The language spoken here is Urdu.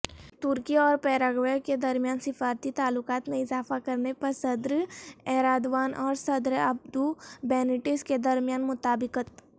ترکی اورپیراگوئےکےدرمیان سفارتی تعلقات میں اضافہ کرنےپرصدرایردوان اورصدرابدوبینیٹس کےدرمیان مطابقت